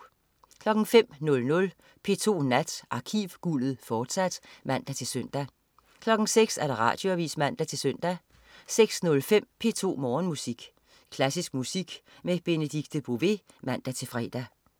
05.00 P2 Nat. Arkivguldet, fortsat (man-søn) 06.00 Radioavis (man-søn) 06.05 P2 Morgenmusik. Klassisk musik med Benedikte Bové (man-fre)